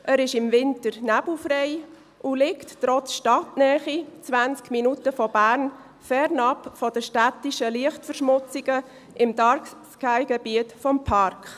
Er ist im Winter nebelfrei und liegt trotz Stadtnähe – 20 Minuten von Bern – fernab der städtischen Lichtverschmutzungen im Dark-Sky-Gebiet des Parks.